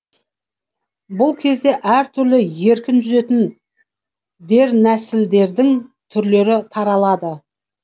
бұл кезде әр түрлі еркін жүзетін дернәсілдердің түрлері таралады